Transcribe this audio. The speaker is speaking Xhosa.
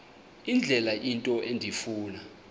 indlela into endifuna